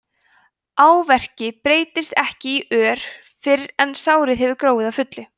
áverki breytist ekki í ör fyrr en sárið hefur gróið að fullu